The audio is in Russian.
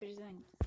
перезвони